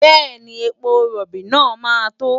Bẹ́ẹ̀ni, epo rọ̀bì náà máa tó.